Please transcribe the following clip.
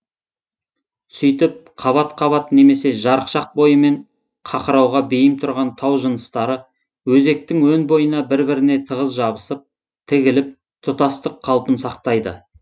сөйтіп қабат қабат немесе жарықшақ бойымен қақырауға бейім тұрған тау жыныстары өзектің өн бойына бір біріне тығыз жабысып тігіліп тұтастық қалпын сақтайды